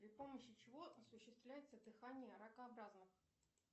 при помощи чего осуществляется дыхание ракообразных